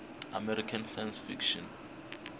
american science fiction